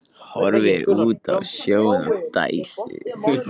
Horfir út á sjóinn og dæsir.